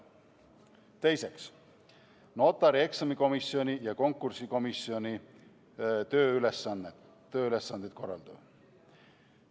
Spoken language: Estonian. Teiseks, notarieksami komisjoni ja konkursikomisjoni tööülesannete korraldamine.